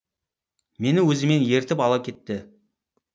мені өзімен ертіп ала кетті